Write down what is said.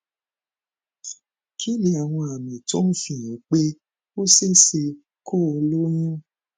kí ni àwọn àmì tó ń fi hàn pé ó ṣe é ṣe kó o lóyún